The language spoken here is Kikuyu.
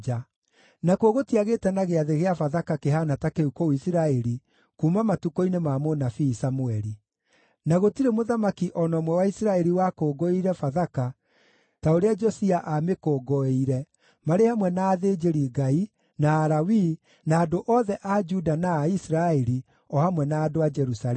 Nakuo gũtiagĩte na Gĩathĩ kĩa Bathaka kĩhaana ta kĩu kũu Isiraeli kuuma matukũ-inĩ ma mũnabii Samũeli; na gũtirĩ mũthamaki o na ũmwe wa Isiraeli wakũngũĩire Bathaka ta ũrĩa Josia aamĩkũngũĩire, marĩ hamwe na athĩnjĩri-Ngai, na Alawii, na andũ othe a Juda na a Isiraeli, o hamwe na andũ a Jerusalemu.